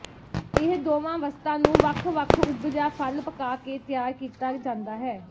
ਇਹ ਦੋਵਾਂ ਵਸਤਾਂ ਨੂੰ ਵੱਖ ਵੱਖ ਉਗ ਜਾਂ ਫਲ ਪਕਾ ਕੇ ਤਿਆਰ ਕੀਤਾ ਜਾਂਦਾ ਹੈ